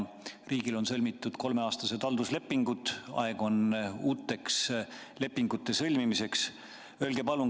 Riigil on sõlmitud kolmeaastased halduslepingud, aeg on uute lepingute sõlmimiseks.